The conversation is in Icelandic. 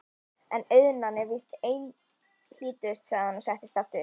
En auðnan er víst einhlítust, sagði hann og settist aftur.